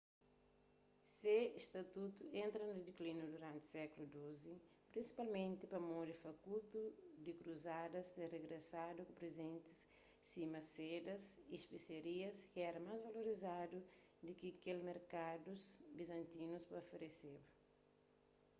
se statutu entra na dekliniu duranti sékulu xii prinsipalmenti pamodi fakutu di kruzadas ter rigresadu ku prizentis sima sedas y spesiarias ki éra más valorizadu di ki kel ki merkadus bizantinus ta ofereseba